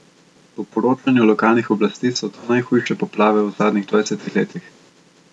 Po poročanju lokalnih oblasti so to najhujše poplave v zadnjih dvajsetih letih.